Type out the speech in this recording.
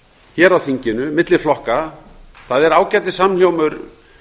hér á þinginu milli flokka það er ágætissamhljómur